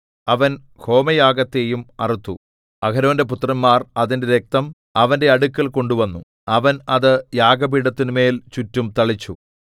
അവൻ ഹോമയാഗത്തെയും അറുത്തു അഹരോന്റെ പുത്രന്മാർ അതിന്റെ രക്തം അവന്റെ അടുക്കൽ കൊണ്ടുവന്നു അവൻ അത് യാഗപീഠത്തിന്മേൽ ചുറ്റും തളിച്ചു